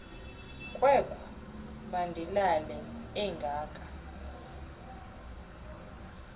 kwekhu mandilale engaka